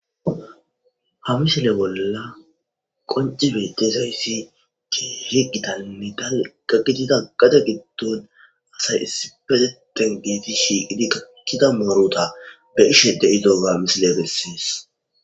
Hamishele bolla qoncibe dezayssi ke higitamidal gagitida gade giddon asay issi peteten geeti shiqidi gakkida mooruta be ishe de7idoga misile gessiis.